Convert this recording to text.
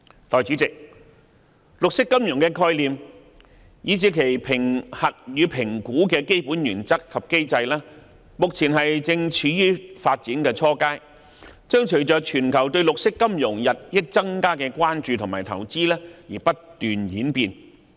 代理主席，綠色金融的概念以至其評核與評估的基本原則及機制，目前正處於發展初階，將隨着全球對綠色金融日益增加的關注和投資而不斷演變。